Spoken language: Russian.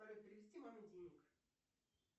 салют перевести маме денег